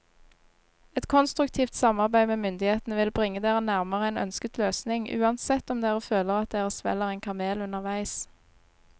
Et konstruktivt samarbeid med myndighetene vil bringe dere nærmere en ønsket løsning, uansett om dere føler at dere svelger en kamel underveis.